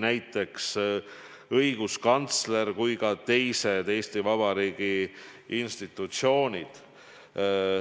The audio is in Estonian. näiteks nii õiguskantsler kui ka teised Eesti Vabariigi institutsioonid.